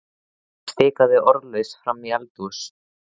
Hún stikaði orðalaust fram í eldhús.